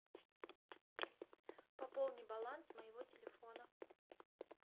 пополни баланс моего телефона